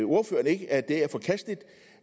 at det er forkasteligt